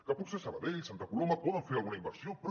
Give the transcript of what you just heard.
que potser sabadell santa coloma poden fer alguna inversió però